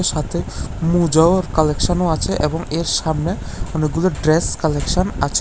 সাথে মুজাওর কালেকশন -ও আছে এবং এর সামনে অনেকগুলো ড্রেস কালেকশন আচে।